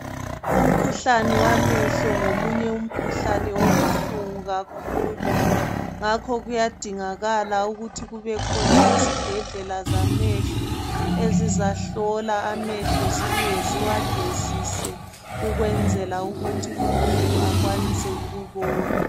Umkhuhlane wamehlo ngomunye umkhuhlane obuhlungu kakhulu. Ngakho kuyadingakala ukuthi kubekhona izibhedlala zamehlo ezizahlola amehlo zibuye ziwagezise ukwenzela ukuthi umuntu akwanise ukubona.